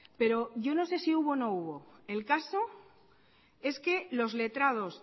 pero yo no sé si hubo o no hubo el caso es que los letrados